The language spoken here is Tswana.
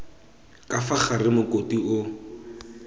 ka fa gare mokopi o